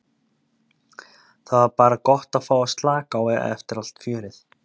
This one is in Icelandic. Það var bara gott að fá að slaka á eftir allt fjörið.